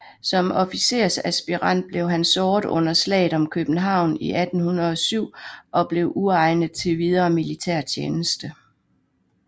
Som officersaspirant blev han såret under Slaget om København i 1807 og blev uegnet til videre militærtjeneste